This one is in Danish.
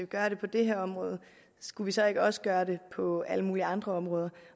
gøre det på det her område skulle vi så ikke også gøre det på alle mulige andre områder